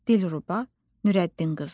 Dilruba Nurəddin qızı.